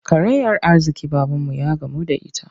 Karayar arziƙi babanmu ya gamu da ita.